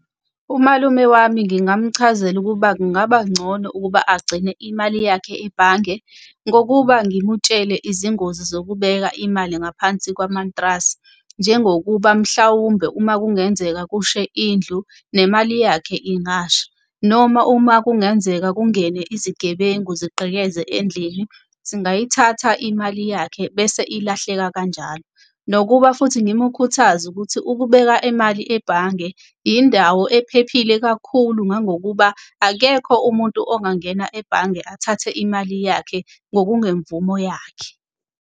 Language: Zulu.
Umalume wami ngingamchazela ukuba kungaba ngcono ukuba agcine imali yakhe ebhange. Ngokuba ngimutshele izingozi zokubeka imali ngaphansi kwamantrasi. Njengokuba mhlawumbe uma kungenzeka kushe indlu nemali yakhe ingasha, noma uma kungenzeka kungene izigebengu zigqekeze endlini zingayithatha imali yakhe bese ilahleka kanjalo. Nokuba futhi ngimukhuthaze ukuthi ukubeka imali ebhange indawo ephephile kakhulu, ngangokuba akekho umuntu ongangena ebhange athathe imali yakhe ngokungemvumo yakhe.